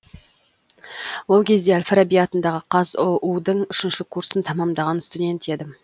ол кезде әл фараби атындағы қазұу дың үшінші курсын тәмамдаған студент едім